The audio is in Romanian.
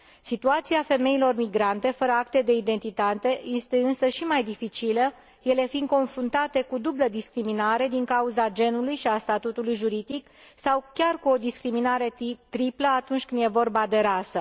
Situația femeilor migrante fără acte de identitate este însă și mai dificilă, ele fiind confruntate cu o dublă discriminare, din cauza genului și a statutului juridic, sau chiar cu o discriminare triplă, atunci când e vorba de rasă.